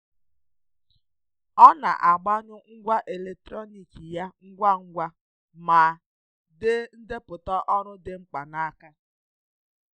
Ọ na-agbanyụ ngwa eletrọniki ya ngwa ngwa ma dee ndepụta ọrụ dị mkpa n'aka.